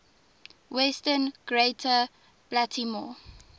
western greater baltimore